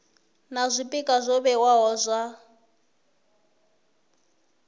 na zwpikwa zwo vhewaho zwa